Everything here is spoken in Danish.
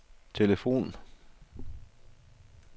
telefon